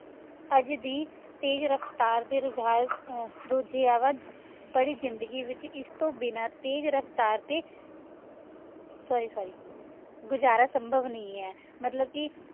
ਆਜ ਦੀ ਤੇਜ਼ ਰਫਤਾਰ ਦੇ ਰੁਝਾਨ ਰੁਝੀਆਵਾਂ ਭਾਰੀ ਜ਼ਿੰਦਗੀ ਵਿਚ ਏਸ ਤੋਂ ਬਿਨਾ ਤੇਜ਼ ਰਫਤਾਰ ਟੀ ਸੋਰ੍ਰੀ ਸੋਰ੍ਰੀ ਮਤਲਬ ਕੇ